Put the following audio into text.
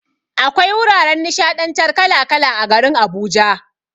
Akwai wuraren nishaɗantar kala kala a garin Abuja.